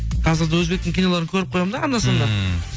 қазір де өзбектің киноларын көріп қоямын да анда санда ммм